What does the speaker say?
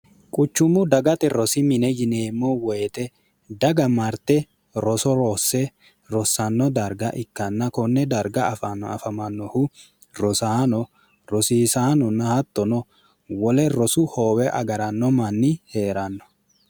quchummu dagate rosi mine yineemmo woyite daga marte roso roosse rossanno darga ikkanna konne darga foafamannohu rosaano rosiisaanonna hattono wole rosu hoowe agaranno manni hee'ranno